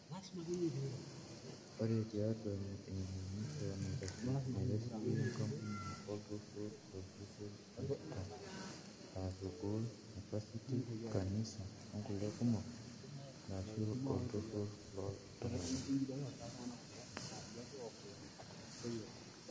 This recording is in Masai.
Ore tiatua emanyisho naitasheki, enkampuni, oltururr, orpurkel, enkidong (aa sukuul, nepasiti, kanisa o ngulie kumok) arashu oltururr loo iltunganak.